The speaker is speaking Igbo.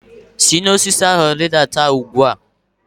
Si n'osisi ahụ rịdata ugbu a!